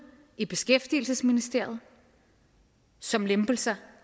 i beskæftigelsesministeriet som lempelser